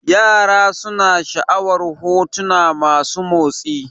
Yara suna sha'awar hotuna masu motsi